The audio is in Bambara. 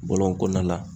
Bɔlɔn kɔnɔna la